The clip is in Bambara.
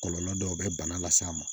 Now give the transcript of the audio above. Kɔlɔlɔ dɔw bɛ bana las'a ma